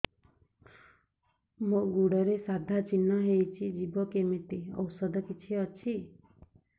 ମୋ ଗୁଡ଼ରେ ସାଧା ଚିହ୍ନ ହେଇଚି ଯିବ କେମିତି ଔଷଧ କିଛି ଅଛି